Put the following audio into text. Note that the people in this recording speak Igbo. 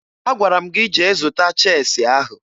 Agwara m gị jee zụta cheesi ahụ!